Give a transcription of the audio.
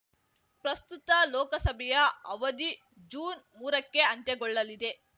ಪ್ರಸ್ತುತ ಲೋಕಸಭೆಯ ಅವಧಿ ಜೂನ್ ಮೂರಕ್ಕೆ ಅಂತ್ಯಗೊಳ್ಳಲಿದೆ